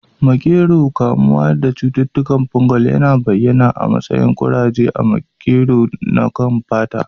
Makero, kamuwa da cututtukan fungal, yana bayyana a matsayin kuraje na makero a kan fata.